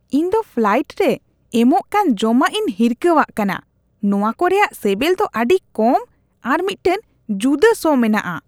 ᱤᱧ ᱫᱚ ᱯᱷᱞᱟᱭᱮᱱᱴ ᱨᱮ ᱮᱢᱚᱜ ᱠᱟᱱ ᱡᱚᱢᱟᱜᱤᱧ ᱦᱤᱨᱠᱷᱟᱹᱣᱟᱜ ᱠᱟᱱᱟ ᱾ ᱱᱚᱶᱟ ᱠᱚ ᱨᱮᱭᱟᱜ ᱥᱮᱵᱮᱞ ᱫᱚ ᱟᱹᱰᱤ ᱠᱚᱢ ᱟᱨ ᱢᱤᱫᱴᱟᱝ ᱡᱩᱫᱟᱹ ᱥᱚ ᱢᱮᱱᱟᱜᱼᱟ ᱾